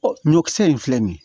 Ɔ ɲɔkisɛ in filɛ nin ye